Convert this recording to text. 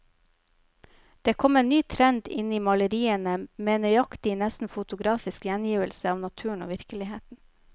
Det kom en ny trend inn i maleriene, med nøyaktig, nesten fotografisk gjengivelse av naturen og virkeligheten.